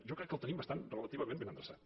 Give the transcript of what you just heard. jo crec que el tenim bastant relativament ben endreçat